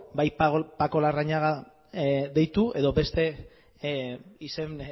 bai paco larrañaga deitu edo beste izen